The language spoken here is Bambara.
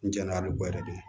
N jɛnna a bi bɔ yɛrɛ de